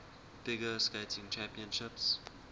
figure skating championships